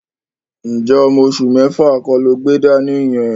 Ǹjẹ́ ọmọ oṣù mẹ́fà kọ́ lo gbé dání yẹn?